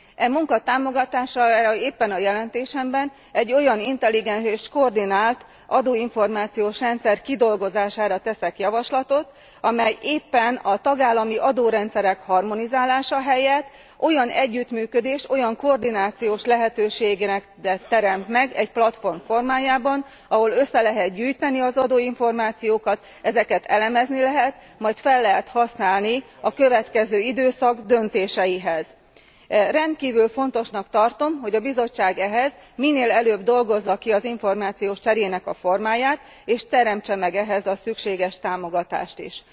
E munka támogatására éppen a jelentésemben egy olyan intelligens és koordinált adóinformációs rendszer kidolgozására teszek javaslatot, amely éppen a tagállami adórendszerek harmonizálása helyett olyan együttműködést, olyan koordinációs lehetőséget teremt meg egy platform formájában, ahol össze lehet gyűjteni az adóinformációkat, ezeket elemezni lehet, majd fel lehet használni a következő időszak döntéseihez. Rendkívül fontosnak tartom, hogy a Bizottság ehhez minél előbb dolgozza ki az információs cserének a formáját, és teremtse meg ehhez a szükséges támogatást is.